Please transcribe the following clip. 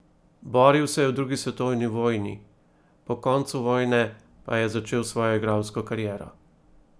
Boril se je v drugi svetovni vojni, po koncu vojne pa je začel svojo igralsko kariero.